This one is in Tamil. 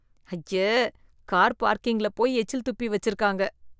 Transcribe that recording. ஐய! கார் பார்க்கிங்கில போய் எச்சில் துப்பி வச்சு இருக்காங்க.